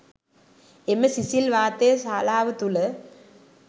එම සිසිල් වාතය ශාලාව තුළ